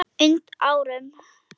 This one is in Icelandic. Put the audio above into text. und árum.